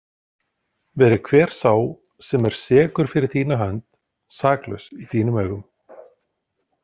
Veri hver sá sem er sekur fyrir þína hönd saklaus í þínum augum.